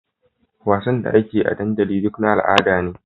Wassanin da akeyi a dandali duka na al'ada ne